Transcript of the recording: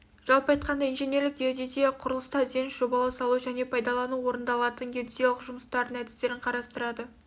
жалпы айтқанда инженерлік геодезия құрылыста ізденіс жобалау салу және пайдалануда орындалатын геодезиялық жұмыстардың әдістерін қарастырады